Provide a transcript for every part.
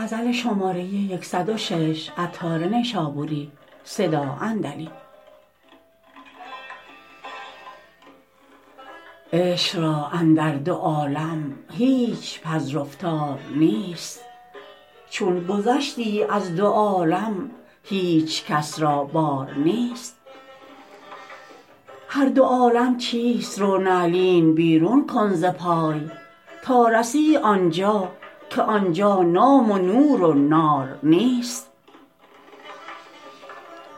عشق را اندر دو عالم هیچ پذرفتار نیست چون گذشتی از دو عالم هیچکس را بار نیست هر دو عالم چیست رو نعلین بیرون کن ز پای تا رسی آنجا که آنجا نام و نور و نار نیست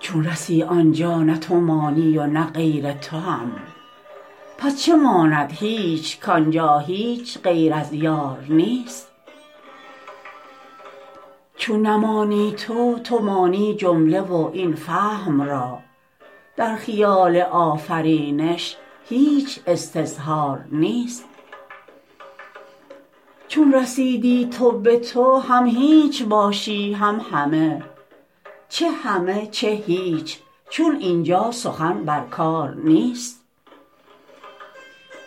چون رسی آنجا نه تو مانی و نه غیر تو هم پس چه ماند هیچ کانجا هیچ غیر از یار نیست چون نمانی تو تو مانی جمله و این فهم را در خیال آفرینش هیچ استظهار نیست چون رسیدی تو به تو هم هیچ باشی هم همه چه همه چه هیچ چون اینجا سخن بر کار نیست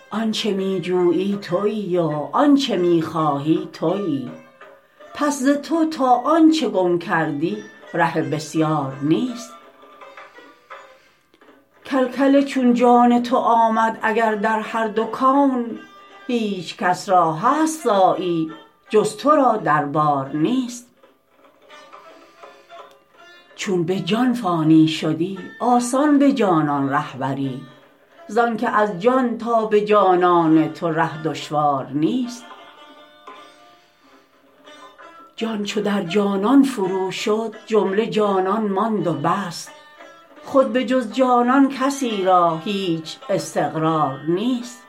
آنچه می جویی تویی و آنچه می خواهی تویی پس ز تو تا آنچه گم کردی ره بسیار نیست کل کل چون جان تو آمد اگر در هر دو کون هیچکس را هست صاعی جز تو را دربار نیست چون به جان فانی شدی آسان به جانان ره بری زانکه از جان تا به جانان تو ره دشوار نیست جان چو در جانان فرو شد جمله جانان ماند و بس خود به جز جانان کسی را هیچ استقرار نیست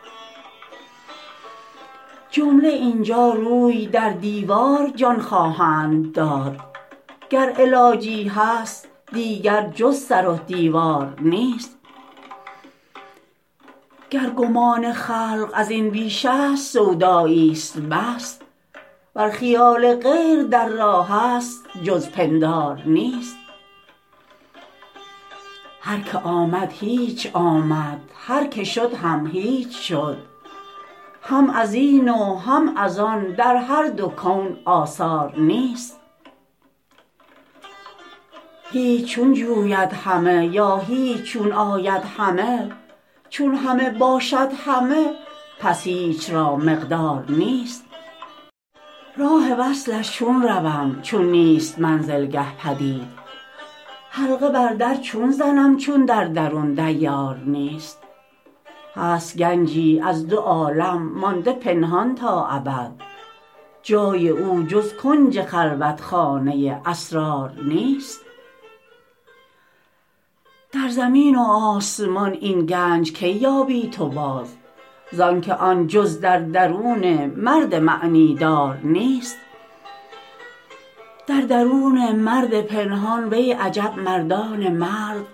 جمله اینجا روی در دیوار جان خواهند داد گر علاجی هست دیگر جز سر و دیوار نیست گر گمان خلق ازین بیش است سودایی است بس ور خیال غیر در راه است جز پندار نیست هر که آمد هیچ آمد هر که شد هم هیچ شد هم ازین و هم از آن در هر دو کون آثار نیست هیچ چون جوید همه یا هیچ چون آید همه چون همه باشد همه پس هیچ را مقدار نیست راه وصلش چون روم چون نیست منزلگه پدید حلقه بر در چون زنم چون در درون دیار نیست هست گنجی از دو عالم مانده پنهان تا ابد جای او جز کنج خلوتخانه اسرار نیست در زمین و آسمان این گنج کی یابی تو باز زانکه آن جز در درون مرد معنی دار نیست در درون مرد پنهان وی عجب مردان مرد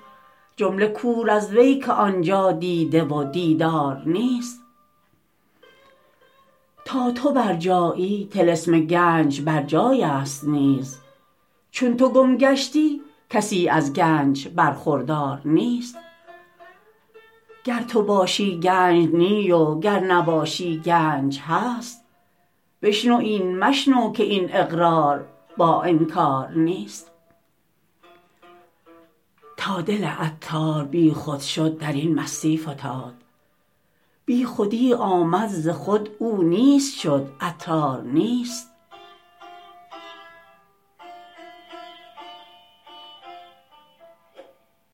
جمله کور از وی که آنجا دیده و دیدار نیست تا تو بر جایی طلسم گنج بر جای است نیز چون تو گم گشتی کسی از گنج برخوردار نیست گر تو باشی گنج نی و گر نباشی گنج هست بشنو این مشنو که این اقرار با انکار نیست تا دل عطار بیخود شد درین مستی فتاد بیخودی آمد ز خود او نیست شد عطار نیست